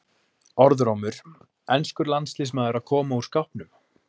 Orðrómur: Enskur landsliðsmaður að koma úr skápnum?